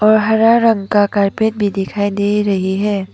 और हरा रंग का कारपेट भी दिखाई दे रही है।